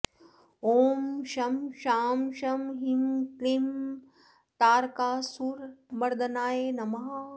ॐ शं शां षं ह्रीं क्लीं तारकासुरमर्दनाय नमः